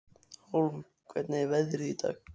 Hólm, hvernig er veðrið í dag?